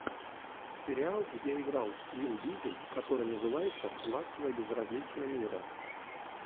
сериал где играл вин дизель который называется ласковое безразличие мира